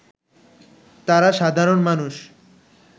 তারা সাধারণ মানুষ